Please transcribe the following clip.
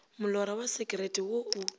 molora wa sekerete wo o